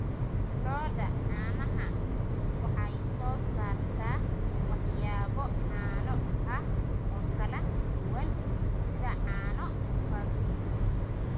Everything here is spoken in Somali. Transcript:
Lo'da caanaha waxay soo saartaa waxyaabo caano ah oo kala duwan sida caano fadhi.